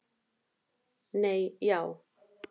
Nei já.